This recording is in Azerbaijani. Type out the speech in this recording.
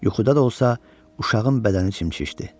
Yuxuda da olsa, uşağın bədəni çimçişdi.